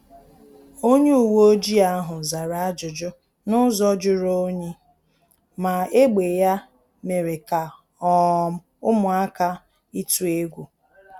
Onye uweojii ahu zara ajụjụ n’ụzọ juru onyi, ma egbe ya mere ka um ụmụaka ituu egwu